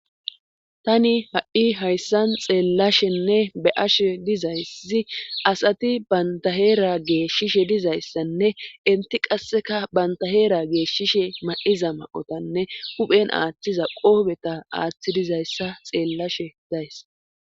Tani ha'i hayssan xeellashenne be ashe dizayssi asati bantaheera geeshshishe dizayssanne inti qasseka bantaheera geeshshishe ma'iza ma'otanne uphen aaththiza qoobeta aaththi dizayssa xeellashe days